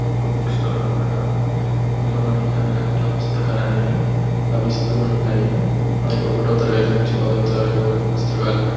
ఇది ఒక book stall అన్నమాట ఇందిలో మనకు అన్నిరకాల పుస్తకాలు అనేవి లబిస్తుంటాయి మనకు ఒకటో తరగతి నుండి పదో తరగతి వరకు పుస్తకాలు--